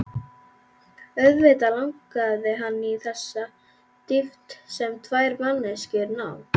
Auðvitað langaði hann í þessa dýpt sem tvær manneskjur ná.